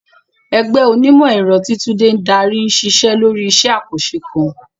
Ẹgbẹ́ onímọ̀-ẹ̀rọ, tí Tunde ń darí, ń ṣiṣẹ́ lórí iṣẹ́ àkànṣe kan.